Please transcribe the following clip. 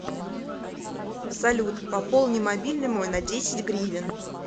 салют пополни мобильный мой на десять гривен